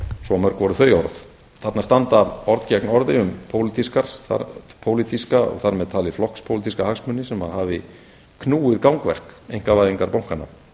svo mörg voru þau orð þarna standa orð gegn orði um pólitíska og þar með talið flokkspólitíska hagsmuni sem hafi knúið gangverk einkavæðingar bankanna